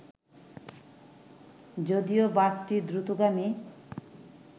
যদিও বাসটি দ্রুতগামী